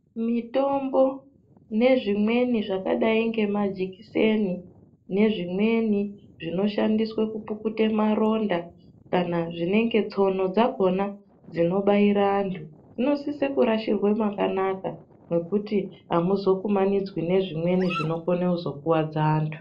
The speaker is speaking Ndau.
Mitombo nezvimweni zvqkqdai ngemajikiseni nezvimweni zvinoshandiswe kupukuta maronda kana nezvimweni zvinonga tsono dzakhona dzinobaira anthu zvinosise kurashirwa makanaka zvekuti amuzokumanidzwi nezvimweni zvinokone kuzokuwadza anthu.